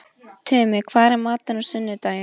Tumi, hvað er í matinn á sunnudaginn?